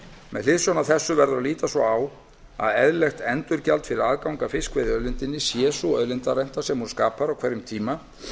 með hliðsjón af þessu verður að líta svo á að eðlilegt endurgjald fyrir aðgang að fiskveiðiauðlindinni sé sú auðlindarenta sem hún skapar á hverjum tíma